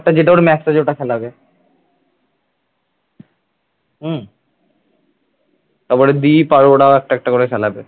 তারপরে দ্বীপ আর ওরাও একটা একটা করে খেলা হবে